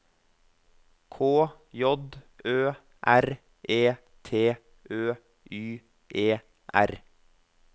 K J Ø R E T Ø Y E R